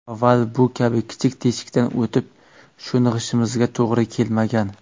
Avval bu kabi kichik teshikdan o‘tib, sho‘ng‘ishimizga to‘g‘ri kelmagan.